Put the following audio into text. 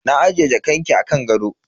Na ajiye jakanki a kan gado.